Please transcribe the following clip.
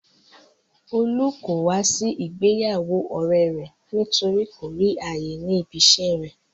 Olú kò wá sí ìgbéyàwó ọ̀rẹ́e rẹ̀ nítorí kò rí ààyè ní ibi iṣẹ́e rẹ̀.